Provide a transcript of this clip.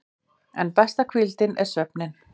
En besta hvíldin er svefninn.